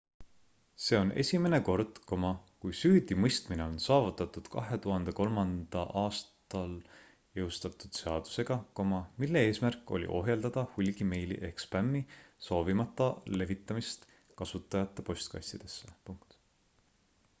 see on esimene kord kui süüdimõistmine on saavutatud 2003 aastal jõustatud seaduseg mille eesmärk oli ohjeldada hulgimeili ehk spämmi soovimata levitamist kasutajate postkastidesse